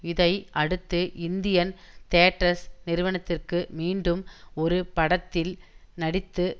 இதை அடுத்து Indian Theatres நிறுவனத்திற்கு மீண்டும் ஒரு படத்தில் நடித்து